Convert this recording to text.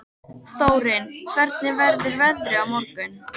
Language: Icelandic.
Þórinn, hvernig verður veðrið á morgun?